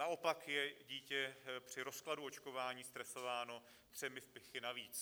Naopak je dítě při rozkladu očkování stresováno třemi vpichy navíc.